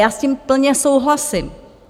Já s tím plně souhlasím.